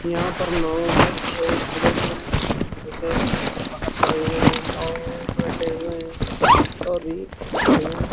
यहाँ पर लोग सुबह-सुबह ऐसे बाहर खड़े हुए हैं। नाव में बैठे हुए है और भी बढ़िया --